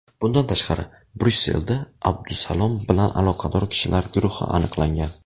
Bundan tashqari, Bryusselda Abdusalom bilan aloqador kishilar guruhi aniqlangan.